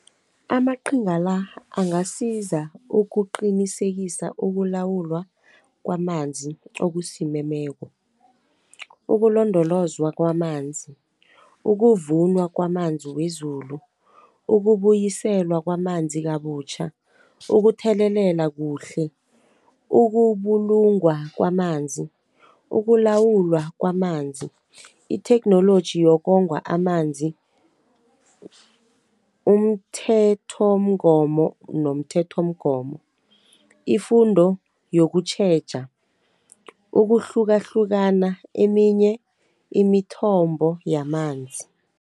Amaqhinga la, angasiza ukuqinisekisa ukulawulwa kwamanzi okosimemeko, ukulondolozwa kwamanzi, ukuvunwa kwamanzi wezulu, ukubuyiselwa kwamanzi kabutjha. ukuthelelela kuhle, ukubulungwa kwamanzi, ukulawulwa kwamanzi, itheknoloji yokongwa amanzi, nomthethomgomo, ifundo yokutjheja, ukuhlukahlukana eminye imithombo yamanzi.